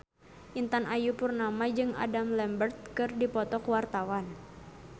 Intan Ayu Purnama jeung Adam Lambert keur dipoto ku wartawan